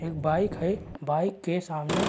एक बाइक है बाइक के सामने --